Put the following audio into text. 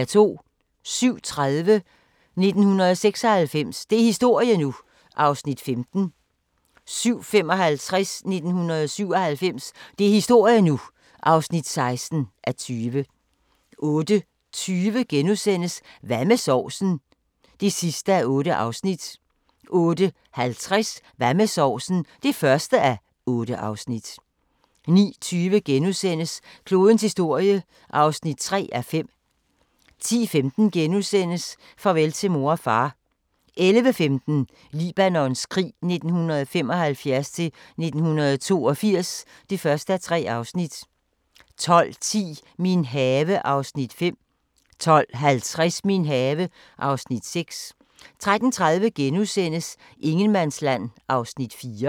07:30: 1996 – det er historie nu! (15:20) 07:55: 1997 – det er historie nu! (16:20) 08:20: Hvad med sovsen? (8:8)* 08:50: Hvad med sovsen? (1:8) 09:20: Klodens historie (3:5)* 10:15: Farvel til mor og far * 11:15: Libanons krig 1975-1982 (1:3) 12:10: Min have (Afs. 5) 12:50: Min have (Afs. 6) 13:30: Ingenmandsland (4:6)*